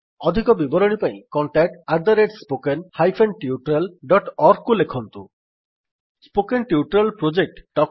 ଅଧିକ ବିବରଣୀ ପାଇଁ contact spoken hyphen tutorial dot org contact at spoken hyphen tutorial dot ଓଆରଜିକୁ ଲେଖନ୍ତୁ